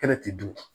Kɛnɛ ti dun